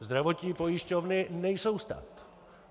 Zdravotní pojišťovny nejsou stát.